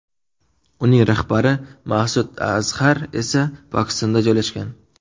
Uning rahbari Ma’sud Azhar esa Pokistonda joylashgan.